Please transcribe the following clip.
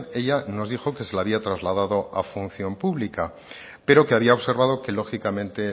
ella nos dijo que se le había trasladado a función pública pero que había observado que lógicamente